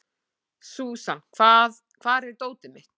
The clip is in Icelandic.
Súsan, hvar er dótið mitt?